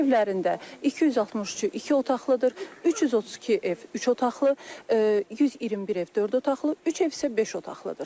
Bu evlərində 263-ü iki otaqlıdır, 332 ev üç otaqlı, 121 ev dörd otaqlı, üç ev isə beş otaqlıdır.